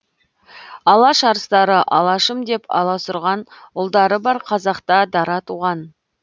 алаш арыстары алашым деп аласұрған ұлдары бар қазақта дара туған